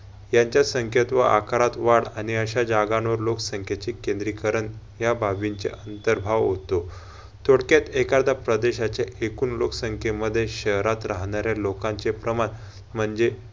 यांच्या संख्यात व आकारात वाढ आणि अशा जागांवर लोकसंख्याचे केंद्रीकरण या बाबींचे अंतर्भाव होतो, थोडक्यात एखादा प्रदेशाचे एकूण लोकसंख्या मध्ये शहरात राहणाऱ्या लोकांचे प्रमाण म्हणजे